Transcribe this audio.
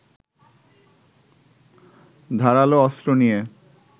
ধারালো অস্ত্র নিয়ে